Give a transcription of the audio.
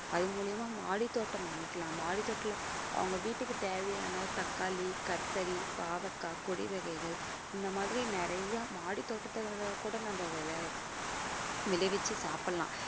அது மூலியமா மாடி தோட்டம் அமைக்கலாம் மாடி தோட்டத்துல அவங்க வீட்டுக்கு தேவையான தக்காளி கத்திரி பாவக்காய் கொடி வகைகள் இந்த மாதிரி நிறைய மாடி தோட்டத்துல கூட நம்ம விளைவிச்சு சாப்பிடலாம்